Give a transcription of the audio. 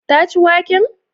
Ta ci waken?